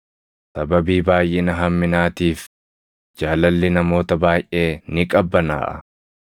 Sababii baayʼina hamminaatiif jaalalli namoota baayʼee ni qabbanaaʼa;